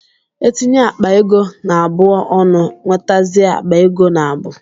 E tinye akpa ego naabụ ọnụ, nwetazie akpa ego naabu